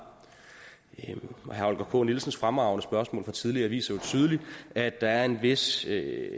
herre holger k nielsens fremragende spørgsmål fra tidligere viser jo tydeligt at der er en vis